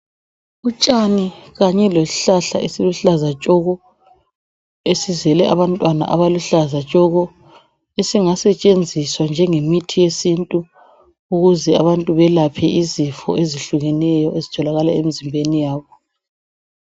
Utshani kanye lesihlahla esiluhlaza tshoko esizele abantwana abaluhlaza tshoko, esingasetshenziswa njengemithi yesintu ukuze abantu belaphe izifo ezihlukeneyo ezitholakala emzimbeni yabo.